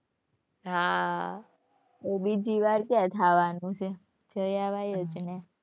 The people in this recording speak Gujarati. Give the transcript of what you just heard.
હાં બીજી વાર કયા થવાનું છે, જઈ અવાય જ ને.